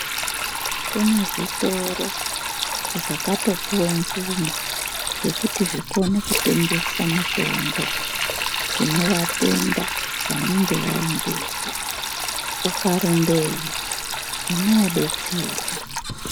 Kune zvitoro zvakato puhwe mvumo yekuti zvikone kutengesa mitombo kune vatenda vanenge vaendeyo uka rumbeyo unoo betserwa.